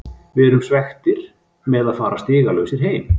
Við erum svekktir með að fara stigalausir heim.